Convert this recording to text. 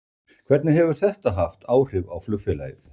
Hvernig hefur þetta haft áhrif á flugfélagið?